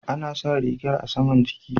Ana sa rigar a saman jiki.